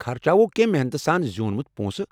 خرچاوو کینٛہہ محنتہٕ سان زیوٗنمُت پونٛسہٕ۔